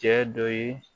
Cɛ dɔ ye